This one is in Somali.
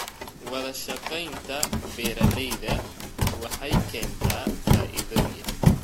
Wadashaqeynta beeralayda waxay keentaa faa'iidooyin.